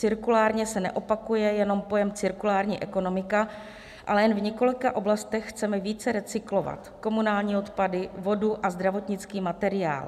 Cirkulárně se neopakuje jenom pojem cirkulární ekonomika, ale jen v několika oblastech chceme více recyklovat komunální odpady, vodu a zdravotnický materiál.